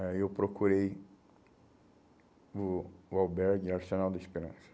Aí eu procurei o o albergue Arsenal da Esperança.